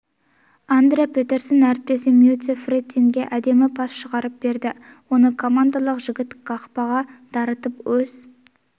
андре петерсон әріптестері мэттью фрэттинге әдемі пас шығарып берді оны канадалық жігіт қақпаға дарытып өз